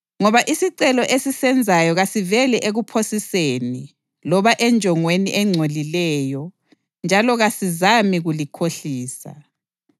Ngoba isicelo esisenzayo kasiveli ekuphosiseni loba enjongweni engcolileyo njalo kasizami kulikhohlisa.